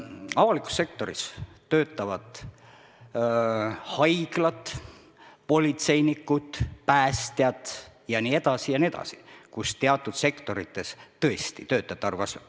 Avalikku sektorisse kuuluvad haiglad, politseinikud, päästjad jne, kus teatud sektorites tõesti töötajate arv kasvab.